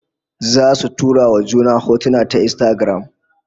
Zasu tura wa juna hotuna ta Instagram